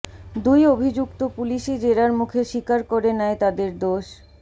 দুই অভিযুক্ত পুলিশি জেরার মুখে স্বীকার করে নেয় তাদের দোষ